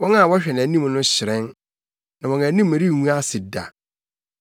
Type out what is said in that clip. Wɔn a wɔhwɛ nʼanim no hyerɛn na wɔn anim rengu ase da.